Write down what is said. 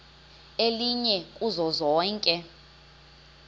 elinye kuzo zonke